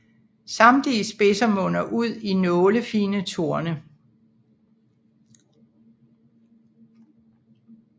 Samtlige spidser munder ud i nålefine torne